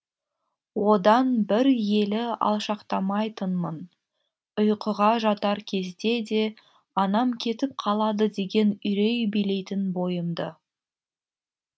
одан бір елі алшақтамайтынмын ұйқыға жатар кезде де анам кетіп қалады деген үрей билейтін бойымды